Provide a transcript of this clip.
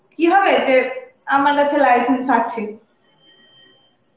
কি হবে যে আমার কাছে license আছে